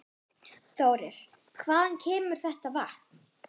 Þórir: Hvaðan kemur þetta vatn?